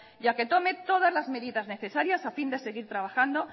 y a que tome todas las medidas necesarias a fin de seguir trabajando